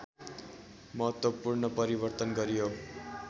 महत्त्वपूर्ण परिवर्तन गरियो